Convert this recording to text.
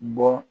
Bɔ